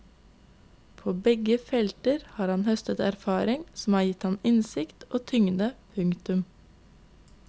På begge felter har han høstet erfaringer som har gitt ham innsikt og tyngde. punktum